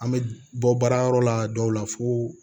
An bɛ bɔ baara yɔrɔ la dɔw la fo